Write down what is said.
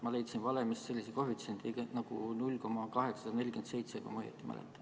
Ma leidsin valemist sellise koefitsiendi nagu 0,847, kui ma õigesti mäletan.